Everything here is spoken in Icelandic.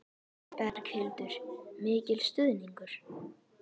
Berghildur: Mikil stuðningur?